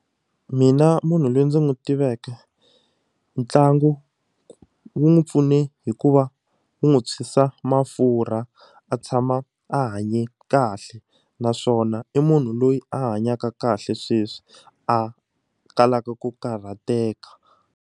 Mina munhu loyi ndzi n'wi tiveke ntlangu wu n'wi pfune hikuva wu n'wi thwisa mafurha a tshama a hanye kahle naswona i munhu loyi a hanyaka kahle sweswi a talaka ku karhateka.